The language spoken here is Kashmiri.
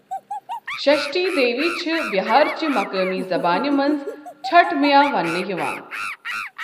شَشٹھی دیوی چُھ بِہار چہِ مُقٲمی زَبٲنہِ منٛز چھٹ مٔیا ونٛنہٕ یِوان۔